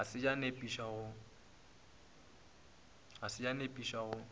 ga se ya nepiša go